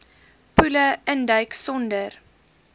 poele induik sonder